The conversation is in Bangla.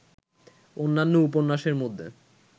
অন্যান্য উপন্যাসের মধ্যে